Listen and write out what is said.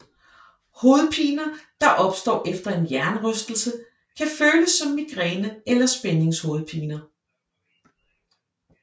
Hovedpiner der opstår efter en hjernerystelse kan følelse som migræne eller spændingshovedpiner